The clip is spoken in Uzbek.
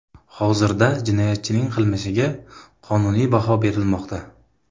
Hozirda jinoyatchining qilmishiga qonuniy baho berilmoqda.